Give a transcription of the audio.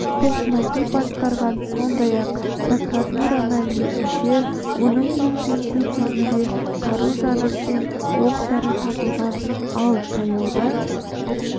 тоқмәди басқарған сондай-ақ прокуратура мәліметінше оның үйін тінту кезінде қару-жарақ пен оқ-дәрі табылған ал таяуда